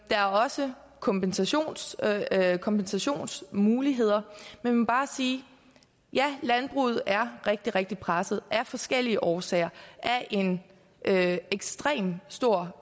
der er også kompensationsmuligheder kompensationsmuligheder man må bare sige ja landbruget er rigtig rigtig presset af forskellige årsager af en ekstremt stor